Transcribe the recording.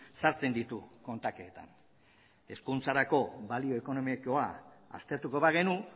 sartzen ditu kontaketan hezkuntzarako balio ekonomikoa aztertuko bagenu